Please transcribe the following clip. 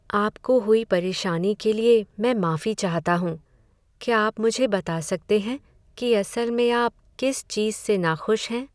आपको हुई परेशानी के लिए मैं माफी चाहता हूँ। क्या आप मुझे बता सकते हैं कि असल में आप किस चीज़ से नाखुश हैं।